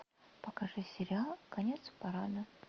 покажи сериал конец парада